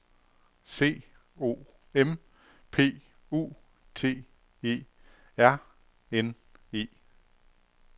C O M P U T E R N E